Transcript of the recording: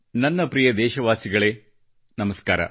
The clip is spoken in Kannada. ನನ್ನ ಪ್ರಿಯ ದೇಶವಾಸಿಗಳೇ ನಮಸ್ಕಾರ